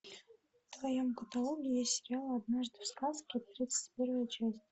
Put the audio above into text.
в твоем каталоге есть сериал однажды в сказке тридцать первая часть